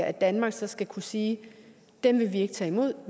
at danmark så skal kunne sige dem vil vi ikke tage imod